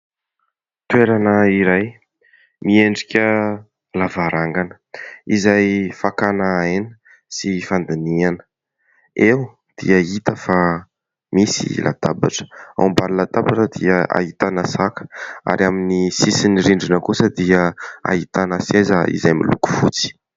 Toerana iray miendrika lavarangana izay fakana aina sy fandiniana, eo dia hita fa misy latabatra. Ao ambany latabatra dia ahitana saka ary amin'ny sisin'ny rindrina kosa dia ahitana seza izay miloko fotsy.